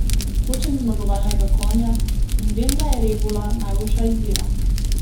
Hočem zmagovalnega konja in vem, da je rebula najboljša izbira.